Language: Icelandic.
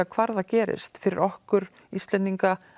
hvar það gerist fyrir okkur Íslendinga